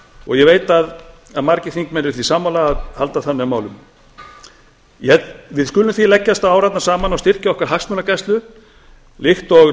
og ég veit að margir þingmenn eru því sammála að halda þannig á málum við skulum því leggjast saman á árarnar og styrkja okkar hagsmunagæslu líkt og